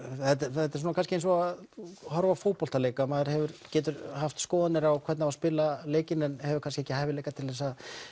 þetta er kannski eins og að horfa á fótboltaleik maður getur haft skoðanir á því hvernig á að spila leikinn en hefur kannski ekki hæfileikana til